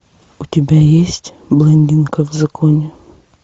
у тебя есть блондинка в законе